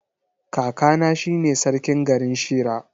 Kakana shine sarkin garin Shira.